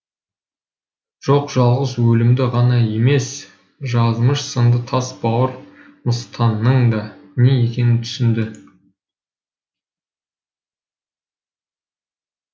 жоқ жалғыз өлімді ғана емес жазмыш сынды тас бауыр мыстанның да не екенін түсінді